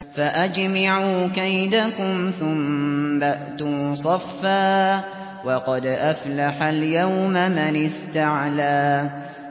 فَأَجْمِعُوا كَيْدَكُمْ ثُمَّ ائْتُوا صَفًّا ۚ وَقَدْ أَفْلَحَ الْيَوْمَ مَنِ اسْتَعْلَىٰ